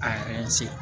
A yɛrɛ ye se